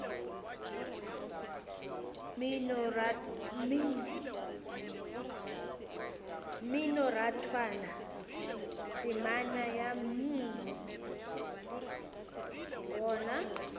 mminorathwana temana ya mm gona